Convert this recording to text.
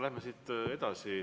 Läheme edasi.